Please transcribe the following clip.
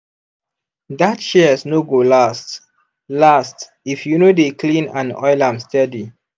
that shears no go last last if you no dey clean and oil am steady.